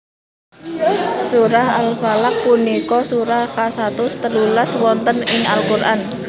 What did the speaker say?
Surah Al Falaq punika surah kasatus telulas wonten ing Al Qur an